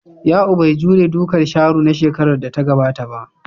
Ya'u bai jure dukan Sharo na shekarar da ta gabata ba.